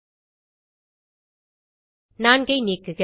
4 ஐ நீக்குக